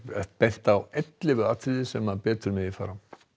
bent á ellefu atriði sem betur megi fara